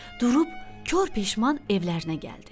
Durub kor peşman evlərinə gəldi.